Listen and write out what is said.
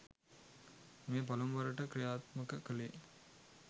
මෙය පළමු වරට කි්‍රයාත්මක කළේ